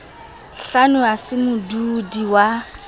hlano a le modudi wa